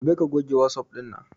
Gobe ka goge wasup ɗin nan